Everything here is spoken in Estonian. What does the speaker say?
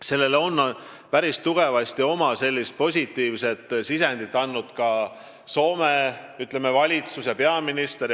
Siin on päris tugevasti positiivset sisendit andnud Soome valitsus ja peaminister.